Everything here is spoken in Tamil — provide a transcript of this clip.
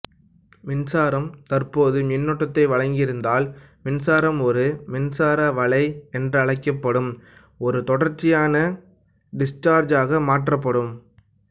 மின்சாரம் தற்போது மின்னோட்டத்தை வழங்கியிருந்தால் மின்சாரம் ஒரு மின்சார வளை என்றழைக்கப்படும் ஒரு தொடர்ச்சியான டிஸ்சார்ஜ் ஆக மாற்றப்படும்